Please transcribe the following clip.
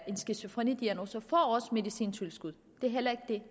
en skizofrenidiagnose medicintilskud det er heller ikke